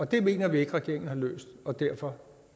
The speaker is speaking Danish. det mener vi ikke regeringen har løst og derfor